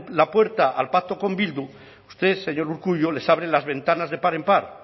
la puerta al pacto con bildu usted señor urkullu les abren las ventanas de par en par